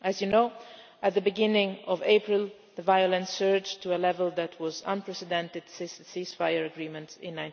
As you know, at the beginning of April, the violence surged to a level that was unprecedented since the ceasefire agreement in